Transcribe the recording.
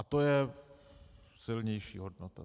A to je silnější hodnota.